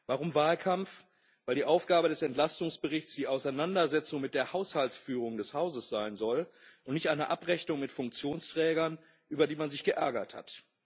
Warum Wahlkampf? Weil die Aufgabe des Entlastungsberichts die Auseinandersetzung mit der Haushaltsführung des Hauses sein soll und nicht eine Abrechnung mit Funktionsträgern, über die man sich geärgert hat.